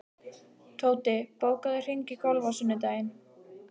Tóti, bókaðu hring í golf á sunnudaginn.